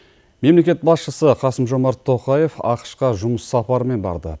мемлекет басшысы қасым жомарт тоқаев ақш қа жұмыс сапарымен барды